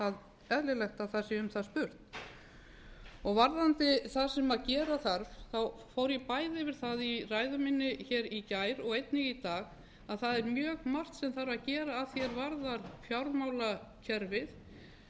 finnst eðlilegt að um það sé spurt varðandi það sem gera þarf þá fór ég bæði yfir það í ræðu minni í gær og einnig í dag að það er mjög margt sem þarf að gera að því er varðar fjármálakerfið